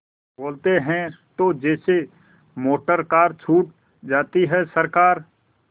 बोलते हैं तो जैसे मोटरकार छूट जाती है सरकार